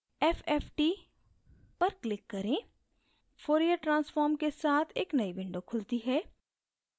fft पर click करें fourier transform के साथ एक नयी window खुलती है